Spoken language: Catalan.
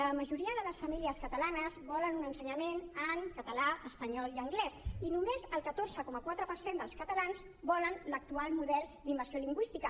la majoria de les famílies catalanes volen un ensenyament en català espanyol i anglès i només el catorze coma quatre per cent dels catalans volen l’actual model d’immersió lingüística